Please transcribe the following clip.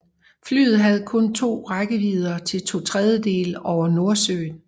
Flyet havde kun rækkevidde til to tredjedele over Nordsøen